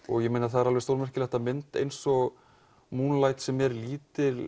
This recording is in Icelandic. það er stórmerkilegt að mynd eins og sem er lítil